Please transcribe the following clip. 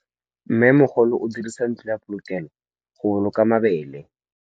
Mmêmogolô o dirisa ntlo ya polokêlô, go boloka mabele.